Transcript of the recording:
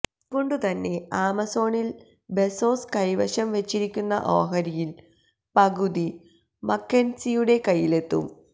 അതുകൊണ്ടുതന്നെ ആമസോണില് ബെസോസ് കൈവശം വെച്ചിരിക്കുന്ന ഓഹരിയില് പകുതി മക്കെന്സിയുടെ കയ്യിലെത്തും